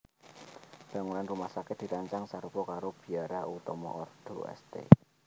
Bangunan rumah sakit dirancang sarupa karo biara utama ordo St